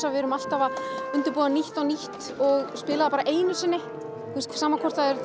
að við erum alltaf að undirbúa nýtt og nýtt og spila það einu sinni sama hvort það